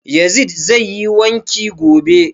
Yazid zai yi wanki gobe